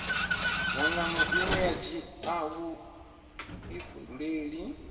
dzangano ine a dzhia vhuifhinduleli